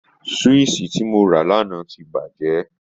Swíìṣì tí mo rà lánàá ti bàjẹ́